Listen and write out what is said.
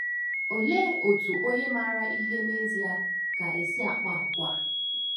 Olee otú onye maara ihe n’ezie ga - esi akpa àgwà?